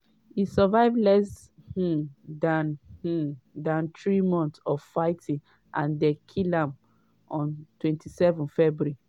e survive less um dan um dan three months of fighting and dem kill am on 27 february.